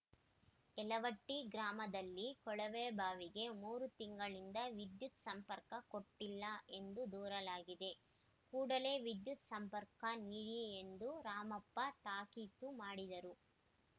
ಯಲವಟ್ಟಿಗ್ರಾಮದಲ್ಲಿ ಕೊಳವೆಬಾವಿಗೆ ಮೂರು ತಿಂಗಳಿಂದ ವಿದ್ಯುತ್‌ ಸಂಪರ್ಕ ಕೊಟ್ಟಿಲ್ಲ ಎಂದು ದೂರಲಾಗಿದೆ ಕೂಡಲೆ ವಿದ್ಯುತ್‌ ಸಂಪರ್ಕ ನೀಡಿ ಎಂದು ರಾಮಪ್ಪ ತಾಕೀತು ಮಾಡಿದರು